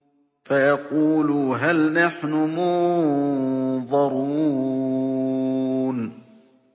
فَيَقُولُوا هَلْ نَحْنُ مُنظَرُونَ